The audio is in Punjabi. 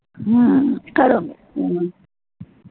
ਹਾਂ ਕਰੂੰਗੀ